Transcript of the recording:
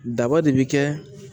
Daba de bɛ kɛ